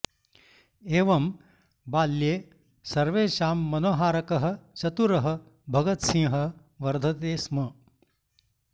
एवं बाल्ये सर्वेषां मनोहारकः चतुरः भगतसिंहः वर्धते स्म